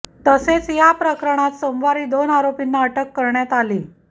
तसेच या प्रकरणात सोमवारी दोन आरोपींना अटक करण्यात आली